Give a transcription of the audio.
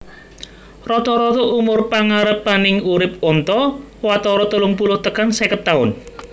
Rata rata umur pangarepaning urip onta watara telung puluh tekan seket taun